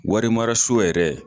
Wari mara so yɛrɛ.